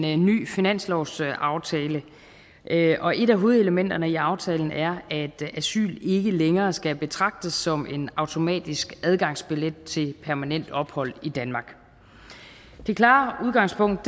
en ny finanslovsaftale og et af hovedelementerne i aftalen er at asyl ikke længere skal betragtes som en automatisk adgangsbillet til permanent ophold i danmark det klare udgangspunkt